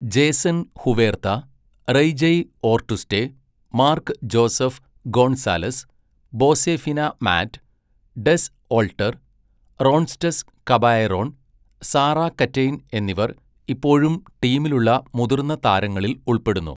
Jason Huerta, റെയ്ജയ് ഓർട്ടുസ്റ്റെ, Mark Joseph Gonzalez, ബോസെഫിന മാറ്റ്, ഡെസ് ഓൾട്ടർ, റോൺസ്റ്റഡ് കബായെറോൺ, സാറാ കറ്റെയ്ൻ എന്നിവർ ഇപ്പോഴും ടീമിലുള്ള മുതിർന്ന താരങ്ങളിൽ ഉൾപ്പെടുന്നു.